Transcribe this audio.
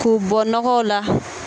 K'u bɔ nɔgɔw la.